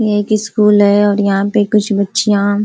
ये एक स्कूल है और यहाँ पे कुछ बच्चियाँ --